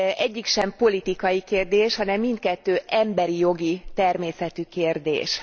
Egyik sem politikai kérdés, hanem mindkettő emberi jogi természetű kérdés.